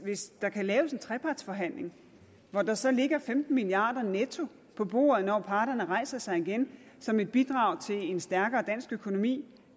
hvis der kan laves en trepartsforhandling hvor der så ligger femten milliard kroner netto på bordet når parterne rejser sig igen som et bidrag til en stærkere dansk økonomi